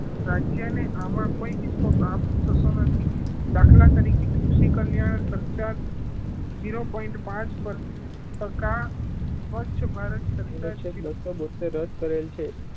રાજ્ય ને આમાં કોઈ કાપ થતો નથી દાખલા તરીકે કૃષિ કલ્યાણ zero point પાંચ પર ટકા સ્વચ્છ ભારત